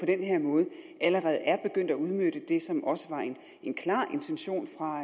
den her måde allerede er begyndt at udnytte det som også var en klar intention fra